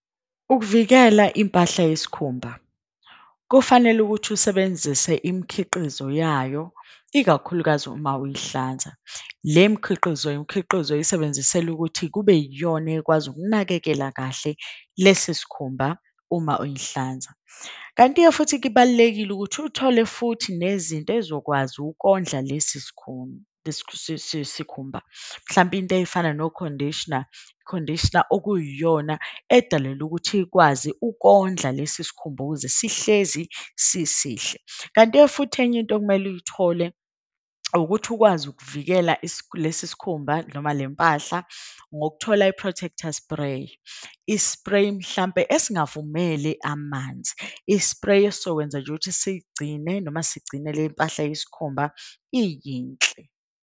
Ukuvikela impahla yesikhumba, kufanele ukuthi usebenzise imikhiqizo yayo ikakhulukazi uma uyihlanza. Le mikhiqizo, imikhiqizo oyisebenzisela ukuthi kube yiyona ekwazi ukunakekela kahle lesi sikhumba uma uyihlanza. Kanti-ke futhi kibalulekile ukuthi uthole futhi nezinto ezokwazi ukondla sikhumba. Mhlawumbe into ey'fana no-conditioner, i-conditioner okuyiyona edalelwe ukuthi ikwazi kondla lesi sikhumba ukuze sihlezi sisihle. Kanti-ke futhi enye into okumele uyithole, ukuthi ukwazi ukuvikela lesi sikhumba noma le mpahla. Ngokuthola i-protector spray, i-spray mhlampe esingavumele amanzi, i-spray esizokwenza nje ukuthi sigcine. Noma sigcine le mpahla yesikhumba iyinhle.